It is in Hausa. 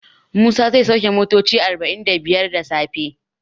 Musa zai sauke motoci arba'in da biyar da safe.